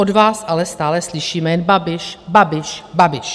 Od vás ale stále slyšíme jen Babiš, Babiš, Babiš.